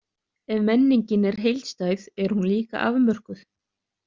Ef menningin er heildstæð, er hún líka afmörkuð.